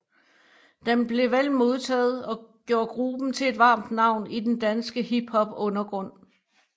Den blev vel modtaget og gjorde gruppen til et varmt navn i den danske hiphopundergrund